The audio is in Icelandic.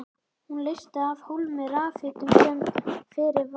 Hún leysti af hólmi rafhitun sem fyrir var.